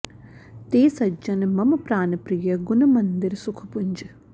ते सज्जन मम प्रानप्रिय गुन मंदिर सुख पुंज